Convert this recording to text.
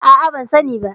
A'a, ban sani ba.